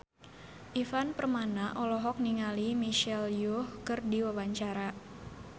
Ivan Permana olohok ningali Michelle Yeoh keur diwawancara